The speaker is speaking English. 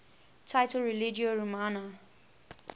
title religio romana